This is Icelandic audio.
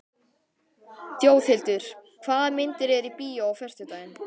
Þjóðhildur, hvaða myndir eru í bíó á föstudaginn?